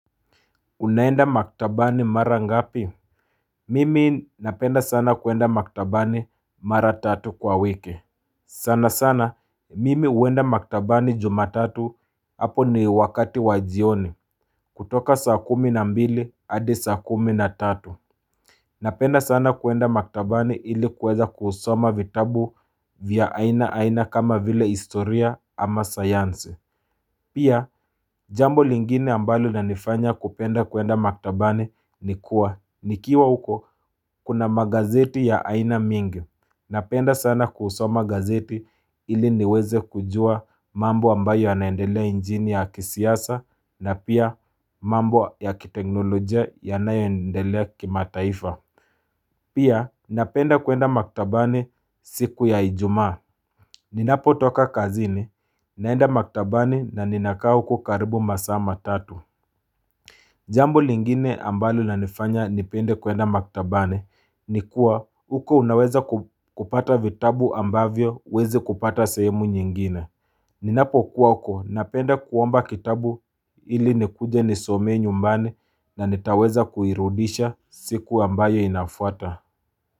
Unaenda maktabani mara ngapi? Mimi napenda sana kuenda maktabani mara tatu kwa wiki. Sana sana, mimi huenda maktabani jumatatu, hapo ni wakati wa jioni. Kutoka saa kumi na mbili, hadi saa kumi na tatu. Napenda sana kuenda maktabani ili kuweza kusoma vitabu vya aina aina kama vile historia ama sayansi. Pia jambo lingine ambalo lanifanya kupenda kuenda maktabani ni kuwa. Nikiwa huko kuna magazeti ya aina mingi. Napenda sana kusoma gazeti ili niweze kujua mambo ambayo yanaendelea nchini ya kisiasa, na pia mambo ya kiteknolojia yanayoendelea kimataifa. Pia napenda kuenda maktabani siku ya ijumaa. Ninapo toka kazini, naenda maktabani na ninakaa huko karibu masaa matatu. Jambo lingine ambalo lanifanya nipende kuenda maktabani ni kuwa huko unaweza kupata vitabu ambavyo huwezi kupata sehemu nyingine. Ninapo kuwa huko napenda kuomba kitabu ili nikuje nisomee nyumbani na nitaweza kuirudisha siku ambayo inafuata.